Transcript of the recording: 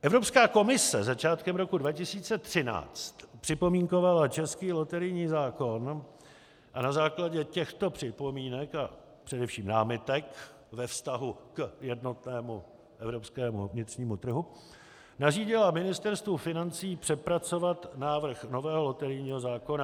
Evropská komise začátkem roku 2013 připomínkovala český loterijní zákon a na základě těchto připomínek a především námitek ve vztahu k jednotnému evropskému vnitřnímu trhu nařídila Ministerstvu financí přepracovat návrh nového loterijního zákona.